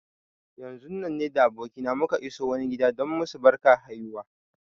Yanzun nan ni da abokina muka iso wani gida don yi masu barkar haihuwa.